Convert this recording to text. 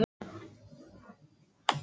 En skyndilega datt Stjána nokkuð í hug.